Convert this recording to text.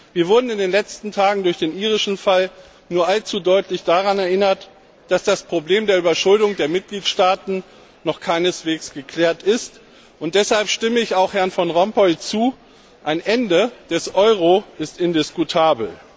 Wir wurden in den letzten Tagen durch den irischen Fall nur allzu deutlich daran erinnert, dass das Problem der Überschuldung der Mitgliedstaaten noch keineswegs geklärt ist, und deshalb stimme ich auch Herrn Van Rompuy zu Ein Ende des Euro ist indiskutabel.